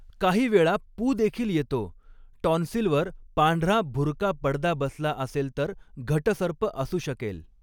काही वेळा पू देखील येतो टॉन्सिलवर पांढरा भुरका पडदा बसला असेल तर घटसर्प असू शकेल.